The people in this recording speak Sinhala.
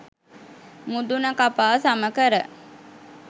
මුදුන කපා සම කර,